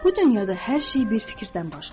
Bu dünyada hər şey bir fikirdən başlayır.